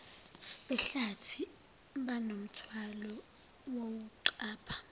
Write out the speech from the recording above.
behlathi banomthwalo wokuqapha